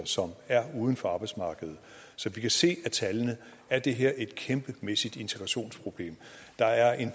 som er uden for arbejdsmarkedet som vi kan se af tallene er det her et kæmpemæssigt integrationsproblem der er en